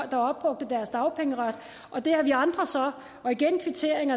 der opbrugte deres dagpengeret og det har vi andre så og igen kvittering